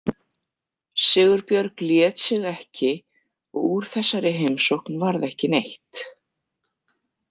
Sigurbjörg lét sig ekki og úr þessari heimsókn varð ekki neitt.